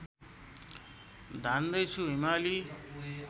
धान्दै छु हिमाली